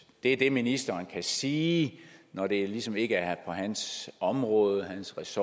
er det ministeren kan sige når det ligesom ikke er på hans område hans